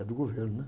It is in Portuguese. É do governo, né?